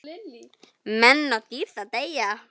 Menn og dýr þá deyja.